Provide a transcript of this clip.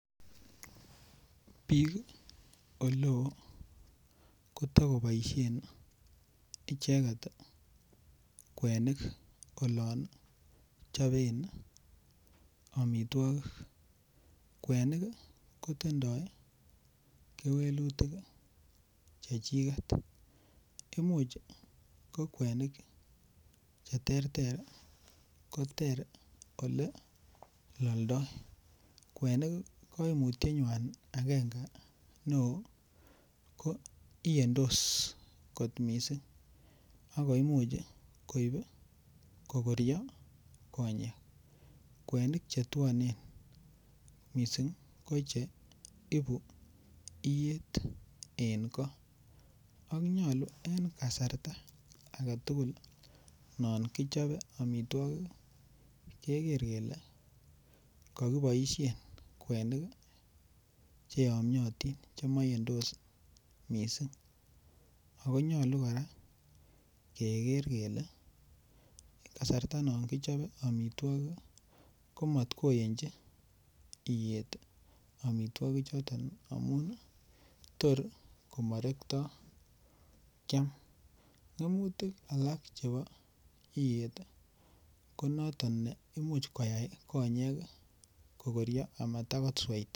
Bik oleo koto koboisien icheget kwenik olon choben amitwogik kwenik kotindoi kewelutik chechiget Imuch ko kwenik Che terter koter Ole loldoi kwenik kaimutyetnywan agenge neo ko iyendos kot mising ako Imuch koyai kogoryo konyek kwenik Che twonen mising ko Che ibu iyet en go ak nyolu en kasarta non kichobe amitwogik keger kele ko ki boisien kwenik Che yomyotin Che maiyendos mising ako nyolu kora keger kele kasarta non kichope amitwogik komat koyonji iyet amitwogik choton tor komorektoi kyam ngemutik Alak chebo iyet ko Imuch koyai konyek ko koryo Amata kosweita